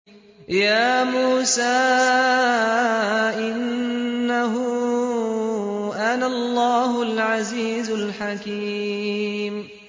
يَا مُوسَىٰ إِنَّهُ أَنَا اللَّهُ الْعَزِيزُ الْحَكِيمُ